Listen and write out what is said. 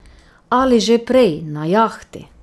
Ali že prej na jahti.